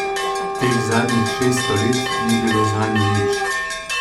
Teh zadnjih šeststo let ni bilo zanju nič.